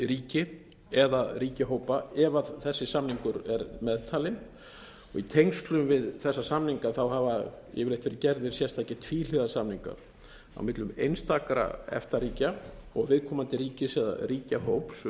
ríki eða ríkjahópa ef þessi samningur er meðtalinn í tengslum við þessa samninga hafa yfirleitt verið gerðir sérstakir tvíhliða samningar á millum einstakra efta ríkja og viðkomandi ríkis eða ríkjahóps um